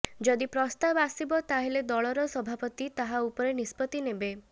ଯଦି ପ୍ରସ୍ତାବ ଆସିବ ତାହା ହେଲେ ଦଳର ସଭାପତି ତାହା ଉପରେ ନିଷ୍ପତ୍ତି ନେବେ